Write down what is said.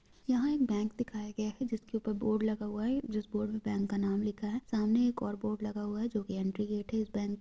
यहाँ एक बैंक दिखाया गया है जिसके ऊपर बोर्ड लगा हुआ है जिस बोर्ड पे बैंक का नाम लिखा है सामने एक और बोर्ड लगा हुआ है जो की एंट्री गेट है इस बैंक का।